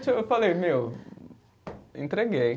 eu falei, meu, entreguei.